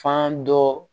Fan dɔ